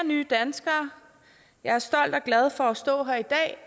nye danskere jeg er stolt af og glad for at stå her i dag